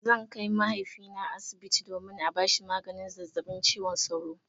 Zan kai mahaifina asibiti domin a bashi maganin zazzabin cizon sauro.